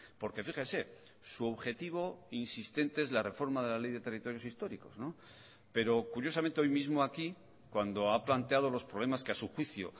porque fíjese su objetivo insistente es la reforma de la ley de territorios históricos pero curiosamente hoy mismo aquí cuando ha planteado los problemas que a su juicio